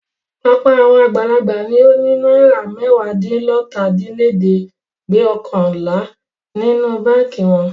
Ọ̀pọ̀ àwọn àgbàlagbà ni ó ní ju náírà mẹ́wàádínlọ́tàdínlẹ́ẹ̀dẹ́gbẹ̀ọkànlá nínú báńkì wọn.